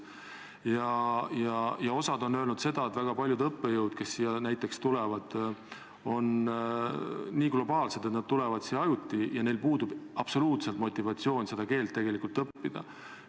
Ja osa on öelnud seda, et väga paljud õppejõud, kes siia tulevad, on nii globaalsed, et nad tulevad siia ajutiseks ja neil puudub absoluutselt motivatsioon seda keelt tegelikult õppida.